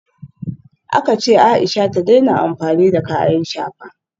Aka ce Aisha ta daina amfani da kayan shafa